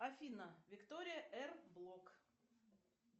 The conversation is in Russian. афина виктория эр блок